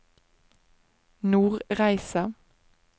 Nordreisa